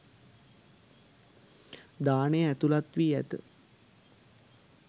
දානය ඇතුළත් වී ඇත.